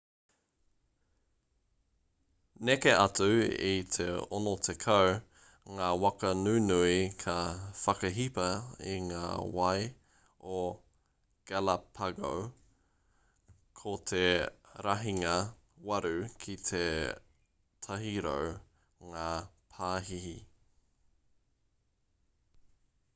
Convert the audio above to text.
neke atu i te 60 ngā waka nunui ka whakahipa i ngā wai o galapago ko te rahinga 8 ki te 100 ngā pāhihi